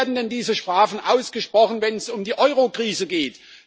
Wo werden denn diese Strafen ausgesprochen, wenn es um die Eurokrise geht?